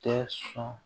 Tɛ sɔn